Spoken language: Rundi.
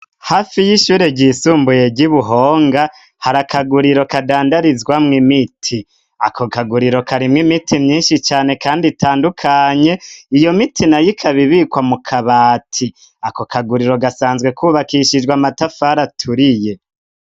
Hafi y'ishure ryisumbuye ry'i Buhonga hari akaguriro kadandarizwamwo imiti, ako kaguriro karimwo imiti myinshi cane kandi itandukanye, iyo miti nayo ikabibikwa mu kabati, ako kaguriro gasanzwe kubakishijwe amatafari aturiye.